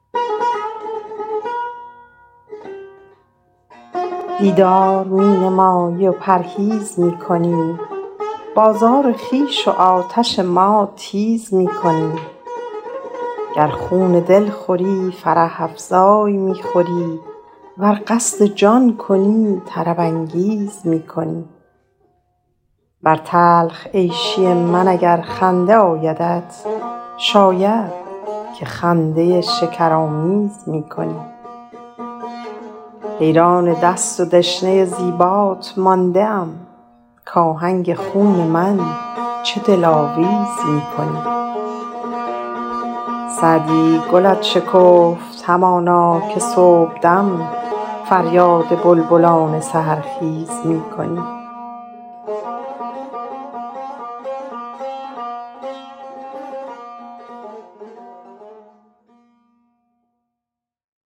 دیدار می نمایی و پرهیز می کنی بازار خویش و آتش ما تیز می کنی گر خون دل خوری فرح افزای می خوری ور قصد جان کنی طرب انگیز می کنی بر تلخ عیشی من اگر خنده آیدت شاید که خنده شکرآمیز می کنی حیران دست و دشنه زیبات مانده ام کآهنگ خون من چه دلاویز می کنی سعدی گلت شکفت همانا که صبحدم فریاد بلبلان سحرخیز می کنی